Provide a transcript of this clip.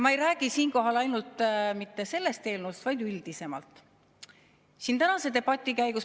Ma ei räägi siinkohal mitte ainult sellest eelnõust, vaid üldisemalt.